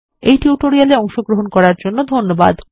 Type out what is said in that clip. এই টিউটোরিয়াল এ অংশগ্রহন করার জন্য ধন্যবাদ